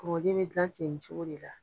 Kokoden mɛ gilan ten nin cogo de la